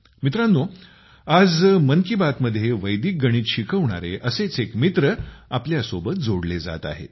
मित्रांनो आज मन की बात मध्ये वैदिक गणित शिकवणारे असेच एक मित्र आपल्यासोबत जोडले जात आहेत